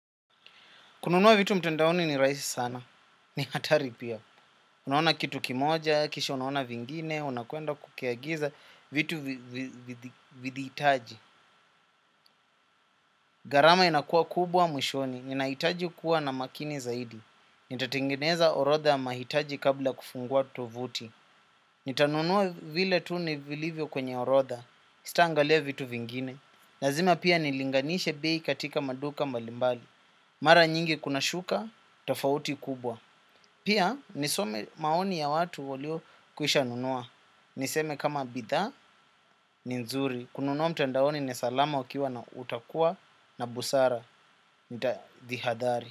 Kununua vitu mtandaoni ni rahisi sana. Ni hatari pia. Unaona kitu kimoja, kisha unaona vingine, unakwenda kukiagiza vitu vidi hitaji. Gharama inakuwa kubwa mwishoni. Ninahitaji kuwa na makini zaidi. Nitatengeneza orodha ya mahitaji kabla ya kufungua tovuti. Nitanunua vile tu vilivyo kwenye orodha. Sitaangalia vitu vingine. Lazima pia nilinganishe bei katika maduka mbalimbali. Mara nyingi kunashuka, tofauti kubwa. Pia nisome maoni ya watu waliokwisha nunua. Niseme kama bidhaa ni nzuri. Kununua mtandaoni ni salama ukiwa na utakuwa na busara. Nitajihadari.